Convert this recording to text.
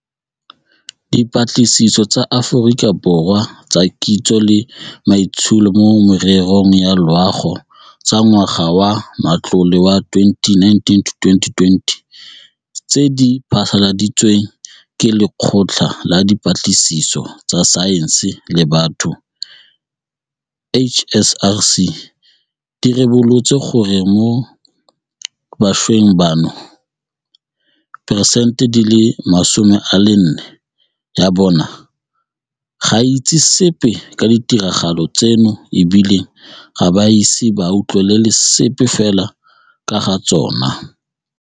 Dipatlisiso tsa Aforika Borwa tsa Kitso le Maitsholo mo Mererong ya Loago tsa ngwaga wa matlole wa 2019-2020 tse di phasaladitsweng ke Lekgotla la Dipatlisiso tsa Saense le Batho, HSRC di ribolotse gore mo bašweng bano, diperesente 40 ya bona ga e itse sepe ka ditiragalo tseno e bile ga ba ise ba utlwele sepe fela ka ga tsona.